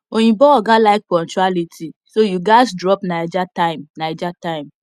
oyinbo oga like punctuality so you gats drop naija time naija time